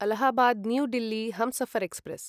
Allahabad new Delhi Humsafar express